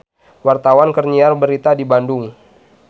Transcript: Wartawan keur nyiar berita di Bandung